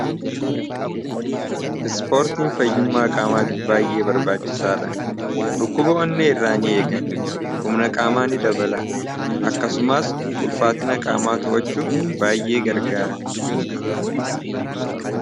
Ispoortiin fayyummaa qaamaatiif baay'ee barbaachisaadha. Dhukkuba onnee irraa ni eega, humna ni dabala akkasumas ulfaatina qaamaa to'achuuf baay'ee gargaara.